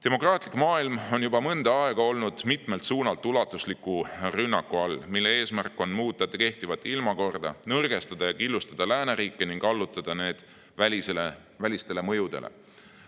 Demokraatlik maailm on juba mõnda aega olnud mitmelt suunalt ulatusliku rünnaku all, mille eesmärk on muuta kehtivat ilmakorda – nõrgestada ja killustada lääneriike ning allutada need välistele mõjudele.